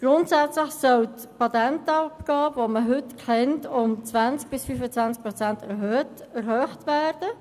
Grundsätzlich soll die Patentabgabe, die man heute kennt, um 20 bis 25 Prozent erhöht werden.